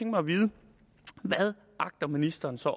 mig at vide hvad agter ministeren så